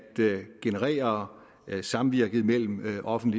generere samvirket mellem offentlig